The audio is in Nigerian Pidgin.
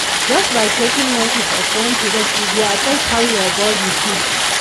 just by taking notice of when to rest e go affect how your body feel.